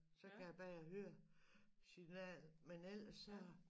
Så kan jeg bedre høre signalet med ellers så